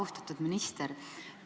Austatud minister!